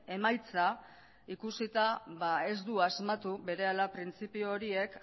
emaitza ikusita ez du asmatu berehala printzipio horiek